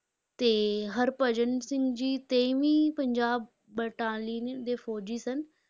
ਤੇ ਹਰਭਜਨ ਸਿੰਘ ਜੀ ਤੇਈਵੀਂ ਪੰਜਾਬ battalion ਦੇ ਫ਼ੌਜ਼ੀ ਸਨ।